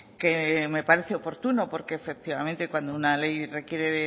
que me parece oportuno porque efectivamente cuando una ley requiere